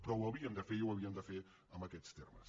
però ho havíem de fer i ho havíem de fer amb aquests termes